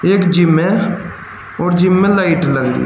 एक जिम है और जिम में लाइट लगी है।